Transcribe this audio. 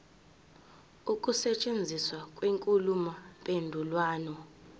ukusetshenziswa kwenkulumo mpendulwano